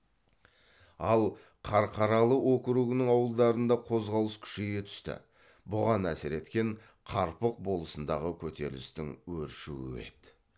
ал қарқаралы округінің ауылдарында қозғалыс күшейе түсті бұған әсер еткен қарпық болысындағы көтерілістің өршуі еді